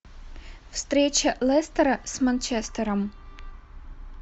встреча лестера с манчестером